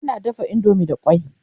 ana dafa indomie da kwai